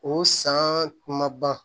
O san ma ban